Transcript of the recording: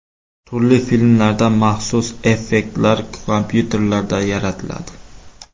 Turli filmlarda maxsus effektlar kompyuterlarda yaratiladi.